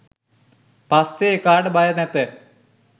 පස්සෙ එකාට බය නැත